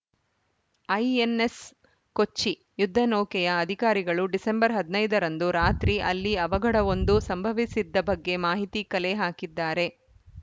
INS Kochi ಯುದ್ಧ ನೌಕೆಯ ಅಧಿಕಾರಿಗಳು ಡಿಸೆಂಬರ್ ಹದಿನೈದ ರಂದು ರಾತ್ರಿ ಅಲ್ಲಿ ಅವಘಡವೊಂದು ಸಂಭವಿಸಿದ್ದ ಬಗ್ಗೆ ಮಾಹಿತಿ ಕಲೆ ಹಾಕಿದ್ದಾರೆ